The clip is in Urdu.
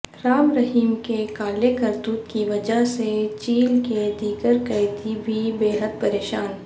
رام رہیم کے کالے کرتوت کی وجہ سے جیل کے دیگر قیدی بھی بیحد پریشان